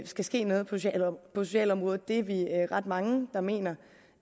skal ske noget på socialområdet det er vi ret mange der mener